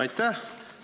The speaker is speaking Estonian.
Aitäh!